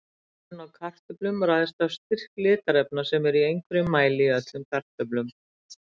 Liturinn á kartöflum ræðst af styrk litarefna sem eru í einhverjum mæli í öllum kartöflum.